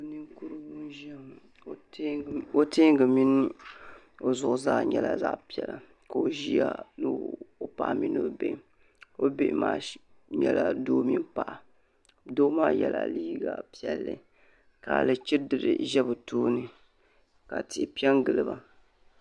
Naninkurugu n ʒiya ŋɔ ka o tɛɛngi mini o zuɣu zaa nyɛla zaɣ piɛla koo ʒiya noo paɣa mini o bihi o bihi maa nyɛla doo mini paɣa doo maa yɛla liiga piɛlli ka alichiidiri ʒɛ bɛ tooni ka tihi pɛn gili ba.